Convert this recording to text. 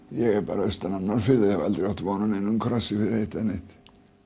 ég er bara austan af Norðfirði og hef aldrei átt von á neinum krossi fyrir eitt eða neitt